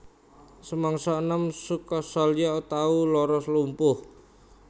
Samangsa enom Sukasalya tau lara lumpuh